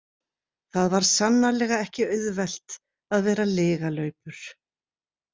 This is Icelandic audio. Það var sannarlega ekki auðvelt að vera lygalaupur.